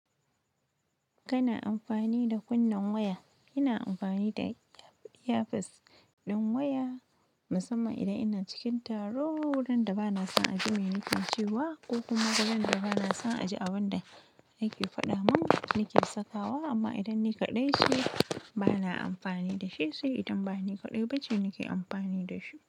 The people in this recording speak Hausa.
Kana amfani da kunnen waya? ina amfani da earpiece ɗin waya musamman idan ina cikin taro wurin da bana son a ji me nake cewa ko kuma wurin da bana son a ji abin da yake faɗa mun nake sakawa amma idan ni kaɗai ce bana amfani da shi sai idan bani kaɗai bace nake amfani da shi.